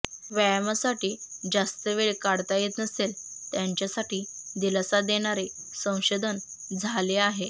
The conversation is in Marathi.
व्यायामासाठी जास्त वेळ काढता येत नसेल त्यांच्यासाठी दिलासा देणारे संशोधन झाले आहे